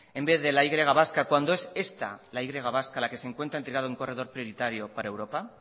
en vez de la y vasca cuando es esta la y vasca la que se encuentra en un corredor prioritario para europa